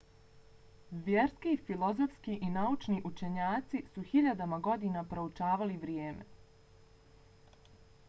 vjerski filozofski i naučni učenjaci su hiljadama godina proučavali vrijeme